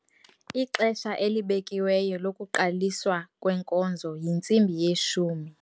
Ixesha elibekiweyo lokuqaliswa kwenkonzo yintsimbi yeshumi.